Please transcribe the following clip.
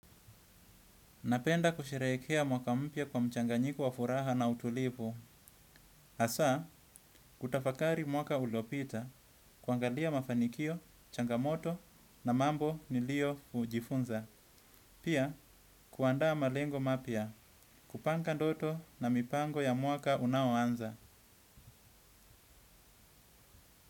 Napenda kusherehkea mwaka mpya kwa mchanganyiko wa furaha na utulivu. Hasaa, kutafakari mwaka uliopita, kuangalia mafanikio, changamoto na mambo niliojifunza. Pia, kuandaa malengo mapya, kupanga ndoto na mipango ya mwaka unaoanza.